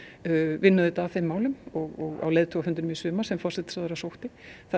vinn auðvitað að þeim málum á leiðtogafundinum í sumar sem forsætisráðherra sótti